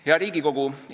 Hea Riigikogu!